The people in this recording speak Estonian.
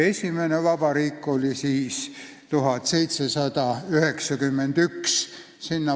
Esimene vabariik algas aastal 1792.